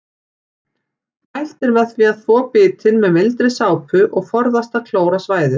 Mælt er með því að þvo bitin með mildri sápu og forðast að klóra svæðið.